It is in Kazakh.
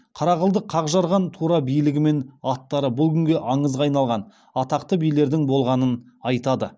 қара қылды қақ жарған тура билігімен аттары бұл күнде аңызға айналған атақты билердің болғанын айтады